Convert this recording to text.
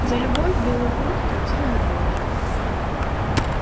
за любовь белый клык платил любовью